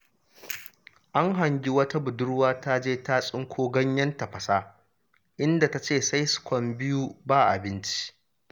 An hangi wata budurwa ta je ta tsinko ganyen tafasa, inda ta ce sai su kwan biyu ba abinci.